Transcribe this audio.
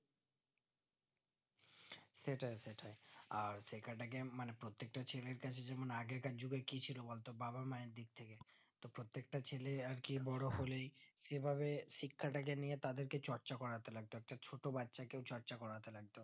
আর শেখা টাকে মানে প্রত্যেকটা ছেলের কাছে যেমন আগেকার যুগে কি ছিল বলতো বাবা মা এর দিকথেকে প্রত্যেক তা ছেলে আরকি বোরো হলেই যেভাবে শিক্ষাটাকে নিয়ে তাদেরকে চর্চা করতে লাগতো ছোট বাচ্চা কেও চর্চা করতে হবে